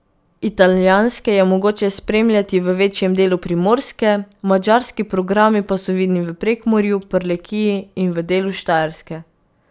Italijanske je mogoče spremljati v večjem delu Primorske, madžarski programi pa so vidni v Prekmurju, Prlekiji in v delu Štajerske.